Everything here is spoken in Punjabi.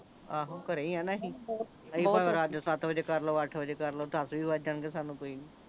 ਆਹੋ ਘਰੇ ਹੀ ਆ ਨਾਂ ਅਸੀਂ ਅਸੀਂ ਭਾਂਵੇ ਰਾਤ ਦੇ ਸਤ ਵਜੇ ਕਰ ਲਓ ਅੱਠ ਵਜੇ ਕਰ ਲਓ ਦੱਸ ਵੀ ਵਜ ਜਾਣ ਗੇ ਸਾਨੂੰ ਕੋਈ ਨਹੀਂ